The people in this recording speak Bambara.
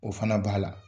O fana b'a la